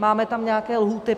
Máme tam nějaké lhůty.